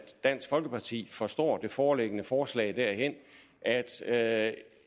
dansk folkeparti forstår det foreliggende forslag derhen at